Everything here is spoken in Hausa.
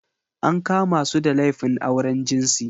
An kama su da laifin auren jinsi.